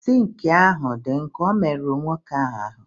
Zinc ahụ dị nkọ o merụrụ nwoke ahụ aru?